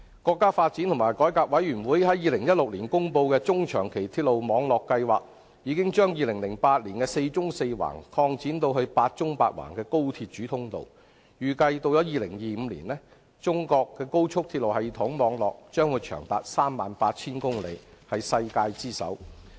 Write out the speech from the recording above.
國家發展和改革委員會在2016年公布的《中長期鐵路網規劃》，已經將2008年的"四縱四橫"擴展至"八縱八橫"的高速鐵路主通道；預計到2025年，中國高速鐵路系統網絡將長達 38,000 公里，是世界之最。